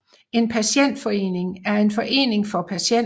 En patientforening er en forening for patienter